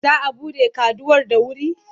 Za a buɗe kaduwar da wuri?